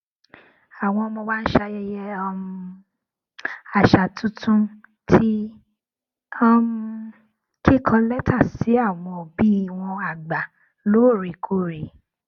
àwọn ọmọ wa ń ṣayẹyẹ um àṣà tuntun ti um kíkọ létà sí àwọn òbí wọn àgbà lóòrèkóòrè